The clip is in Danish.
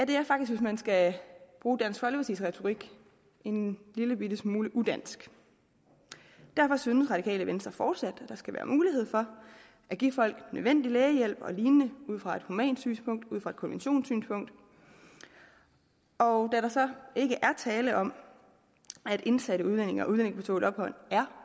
det er faktisk hvis man skal bruge dansk folkepartis retorik en lillebitte smule udansk derfor synes det radikale venstre fortsat at der skal være mulighed for at give folk nødvendig lægehjælp og lignende ud fra et humant synspunkt ud fra et konventionssynspunkt og da der så ikke er tale om at indsatte udlændinge og udlændinge på tålt ophold er